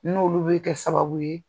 N'olu bi kɛ sababu ye